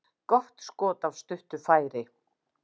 Gott skot af stuttu færi.